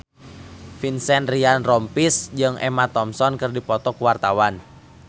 Vincent Ryan Rompies jeung Emma Thompson keur dipoto ku wartawan